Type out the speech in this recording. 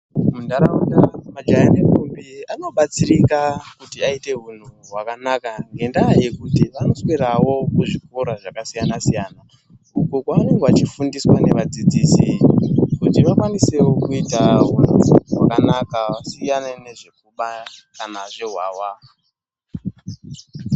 Muntaraunda majaya nentombi anobatsirika kuti aite unhu hwakanaka ngendaa yokuti vanoswerawo kuzvikora zvakasiyana siyana uko kwavanenge vachifundiswa nevadzidzisi kuti vakwanisewo kuita hunhu hwakanaka vasiyane nezvekuba kana zvehwahwa.